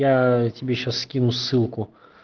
я тебе сейчас скину ссылку